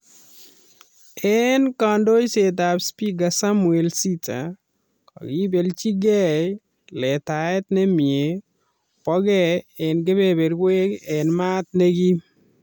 En kandoishetab Speaker Samuel Sitta, kokibelchige letaet nemie boke en kebeberwek en mat nekim